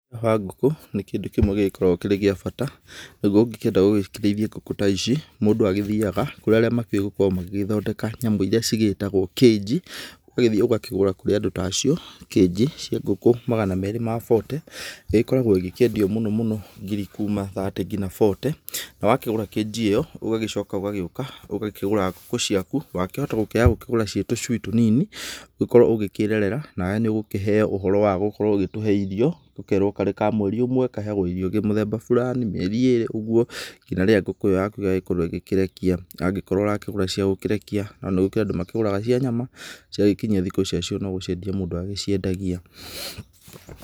Ngũkũ nĩ kĩndũ kĩmwe gĩgĩkoragwo kĩrĩ gia bata. Naguo ũngĩkĩenda gũgĩkĩrĩithia ngũkũ ta ici, mũndũ agĩthĩaga kũrĩ arĩa makĩuĩ gũkorwo magĩthondeka nyamũ irĩa ci gĩtagwo cage, ũgagĩthiĩ ũgakĩgũra kũrĩ andũ ta acio. Cage cia ngũkũ magana meerĩ ma bote, igĩkoragwo igĩkĩendio mũno mũno ngiri kuuma thate ngina bote, na wakĩgũra cage ĩyo ũgagĩcoka, ũgagĩuka ũgakĩgũra ngũkũ ciaku. Wakĩhota gũkĩaya gũkĩgũra ciĩ tũcui tũnini ũkorwo ũgĩkĩrerera. Nawe nĩ ũkũheo ũhoro wa gũkorwo ũgĩtũhe irio. Ũkerwo karĩ ka mweri ũmwe kaheagwo irio mũthemba fulani, mĩeri ĩrĩ ũgũo, nginya rĩrĩa ngũkũ ĩyo yakũ ĩgagĩkorwo ĩkĩrekia angĩkorwo ũrakĩgũra cia gũkĩrekia, no nĩ kũrĩ andũ makĩgũraga cia nyama, cia gĩkinyia thikũ cia cio no gũciendia mũndũ agĩciendagia.